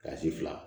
fila